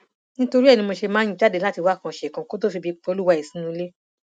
nítorí ẹ ni mo ṣe máa ń jáde láti wákan ṣèkan kó tóó febi pa olúwa ẹ sínú ilé